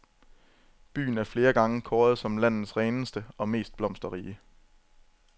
Byen er flere gange kåret som landets reneste og mest blomsterrige.